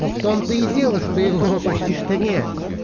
но в том-то и дело что его почти что нет